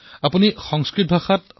প্ৰশ্নং পৃষ্ঠৱতী